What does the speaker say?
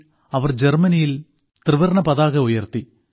1907ൽ അവർ ജർമ്മനിയിൽ ത്രിവർണ്ണ പതാക ഉയർത്തി